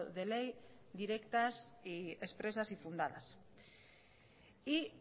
de ley directas y expresas y fundadas y